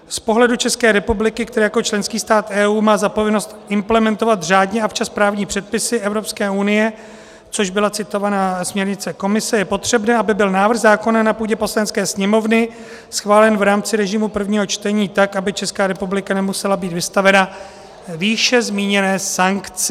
Z pohledu České republiky, která jako členský stát EU má za povinnost implementovat řádně a včas právní předpisy Evropské unie, což byla citovaná směrnice Komise, je potřebné, aby byl návrh zákona na půdě Poslanecké sněmovny schválen v rámci režimu prvního čtení, tak aby Česká republika nemusela být vystavena výše zmíněné sankci.